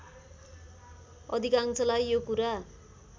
अधिकांशलाई यो कुरा